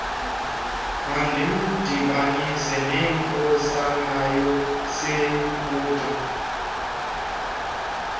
mandimdibanise nenkosana yaseyiputa